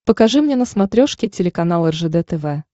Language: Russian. покажи мне на смотрешке телеканал ржд тв